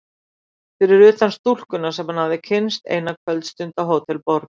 Fyrir utan stúlkuna sem hann hafði kynnst eina kvöldstund á Hótel Borg.